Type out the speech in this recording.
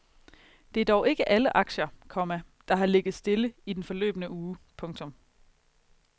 Det er dog ikke alle aktier, komma der har ligget stille i den forløbne uge. punktum